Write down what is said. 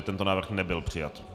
Tento návrh nebyl přijat.